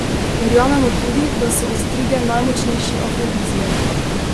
Verjamemo tudi, da so ostrige najmočnejši afrodiziak.